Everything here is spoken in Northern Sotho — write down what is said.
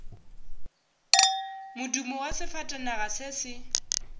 modumo wa sefatanaga se se